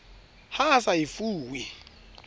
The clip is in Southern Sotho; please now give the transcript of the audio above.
ha a sa e fuwe